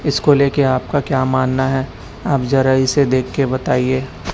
इसको लेके आपका क्या मानना है आप जरा इसे देखके बताइए--